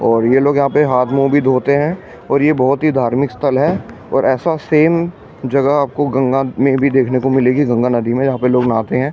और ये लोग यहां पे हाथ मुंह भी धोते हैं और ये बहुत ही धार्मिक स्थल है और ऐसा सेम जगह आपको गंगा में भी देखने को मिलेगी गंगा नदी में जहां पे लोग नहाते हैं।